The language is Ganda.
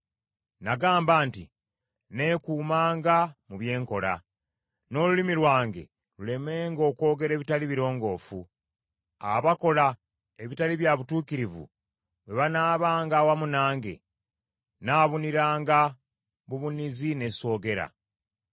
Nagamba nti, “Nneekuumanga mu bye nkola, n’olulimi lwange lulemenga okwogera ebitali birongoofu. Abakola ebitali bya butuukirivu bwe banaabanga awamu nange nnaabuniranga bubunizi ne soogera.”